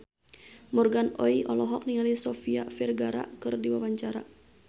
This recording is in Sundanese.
Morgan Oey olohok ningali Sofia Vergara keur diwawancara